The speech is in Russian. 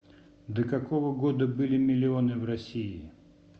до какого года были миллионы в россии